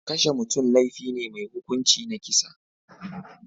Kashe mutum laifi ne mai hukunci na kisa.